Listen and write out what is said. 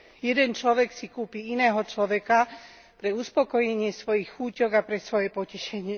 Jeden človek si kúpi iného človeka pre uspokojenie svojich chúťok a pre svoje potešenie.